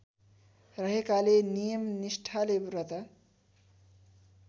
रहेकाले नियमनिष्ठाले व्रत